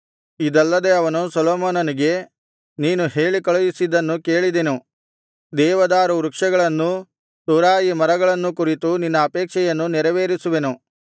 ಇದಲ್ಲದೆ ಅವನು ಸೊಲೊಮೋನನಿಗೆ ನೀನು ಹೇಳಿಕಳುಹಿಸಿದ್ದನ್ನು ಕೇಳಿದೆನು ದೇವದಾರು ವೃಕ್ಷಗಳನ್ನೂ ತುರಾಯಿ ಮರಗಳನ್ನೂ ಕುರಿತು ನಿನ್ನ ಅಪೇಕ್ಷೆಯನ್ನು ನೆರವೇರಿಸುವೆನು